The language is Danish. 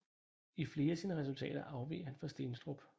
I flere af sine resultater afveg han fra Steenstrup